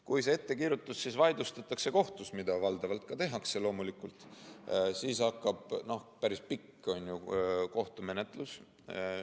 Kui see ettekirjutus kohtus vaidlustatakse, mida valdavalt ka tehakse, siis loomulikult hakkab peale päris pikk kohtumenetlus.